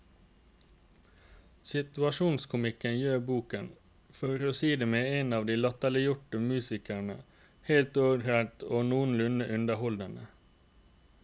Situasjonskomikken gjør boken, for å si det med en av de latterliggjorte musikerne, helt ålreit og noenlunde underholdende.